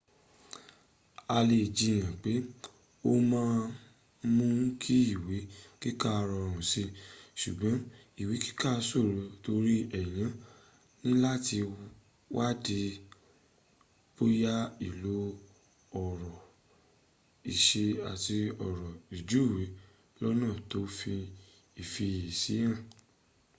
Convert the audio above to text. a lè jiyan pe o ma n mú kí ìwé kíkà rọrùn si ṣùgbọ́́n ìwé kika ṣòro tori èyàn níláti wadi bóyá ilo ọ̀rọ̀ ìṣe àti ọ̀rọ̀ ìjúwe lọ́́nà tó fi ifiyesi ha